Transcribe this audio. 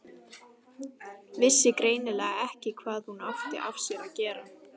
Vissi greinilega ekki hvað hún átti af sér að gera.